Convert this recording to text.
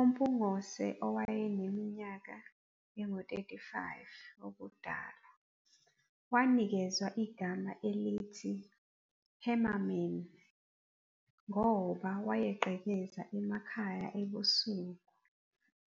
UMpungose owaneminyaka engu-35 ubudala wanikezwa igama elithi 'Hammerman' ngoba wayegqekeza amakhaya ebusuku